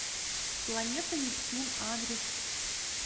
планета нептун адрес